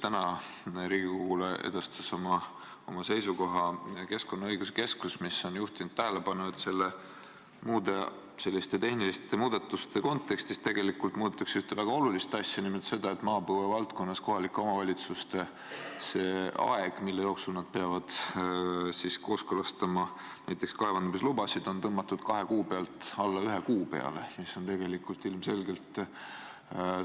Täna edastas Riigikogule oma seisukoha Keskkonnaõiguse Keskus, mis on juhtinud tähelepanu, et tehniliste muudatuste kontekstis muudetakse maapõuevaldkonnas ühte väga olulist asja, nimelt seda, et aeg, mille jooksul kohalikud omavalitsused peavad kooskõlastama näiteks kaevandamislubasid, on tõmmatud kahe kuu pealt ühe kuu peale, mis on ilmselgelt